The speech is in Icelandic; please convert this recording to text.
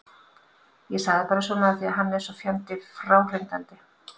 Ég sagði bara svona af því að hann er svo fjandi fráhrindandi.